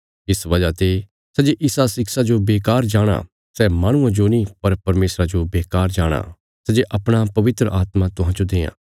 इस वजह ते सै जे इसा शिक्षा जो बेकार जाणाँ सै माहणुये जो नीं पर परमेशरा जो बेकार जाणाँ सै जे अपणा पवित्र आत्मा तुहांजो देआं